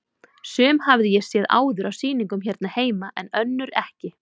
Sum hafði ég séð áður á sýningum hérna heima en önnur ekki.